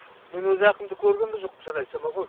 мен өзі әкімді көрген да жоқпын шын айтсам бар ғой